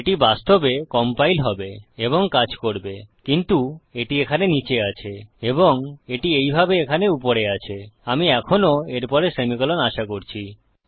এটি বাস্তবে কম্পাইল হবে এবং কাজ করবে কিন্তু এটি এখানে নীচে আছে এবং এটি এইভাবে এখানে উপরে আছে আমি এখনও এর পরে সেমিকোলন আশা করছি